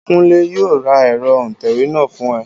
Kúnlé yóò ra ẹ̀rọ òǹtẹ̀wé náà fún ẹ